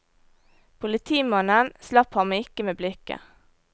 Politimannen slapp ham ikke med blikket.